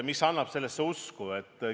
Mis annab sellesse usku?